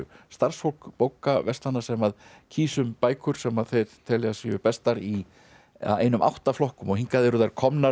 starfsfólk bókaverslana sem kýs um bækur sem þau telja að séu bestar í einum átta flokkum og hingað eru þær komnar